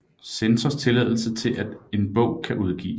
Censors tilladelse til at en bog kan udgives